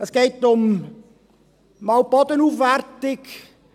Es geht zum einen um die Bodenaufwertung.